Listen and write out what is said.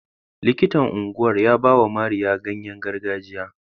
Likitan unguwar ya bawa Mariya ganyengargajiya.